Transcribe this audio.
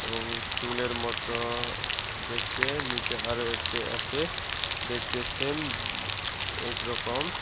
এবং চুলের মতো দেখতে নীচে আরও একটি আছে দেখতে সেম একরকম।